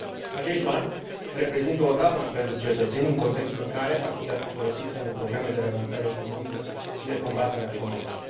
Acești bani reprezintă o daună pentru cetățeni, în contextul în care ar putea fi folosiți pentru programe de relansare economică și de combatere a șomajului.